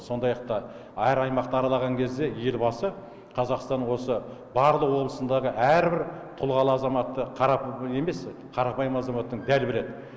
сондай ақ та әр аймақты аралаған кезде елбасы қазақстанның осы барлық облысындағы әрбір тұлғалы азаматты қарапайым азаматтың бәрі біледі